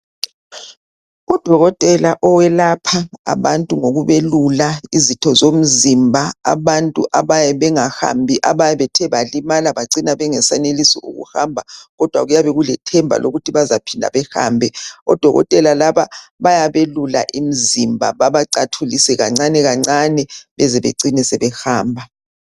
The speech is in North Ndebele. Udokotela owelapha abantu ngokubayelula izitho zomzimba abathe bakhubazeka ngokuhamba kodwa kuyabe kulethemba lokuthi bazahamba odokotela bayacathulisa baze babeleqiniso lokuhamba.